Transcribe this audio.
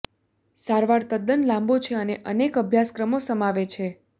સારવાર તદ્દન લાંબો છે અને અનેક અભ્યાસક્રમો સમાવે છે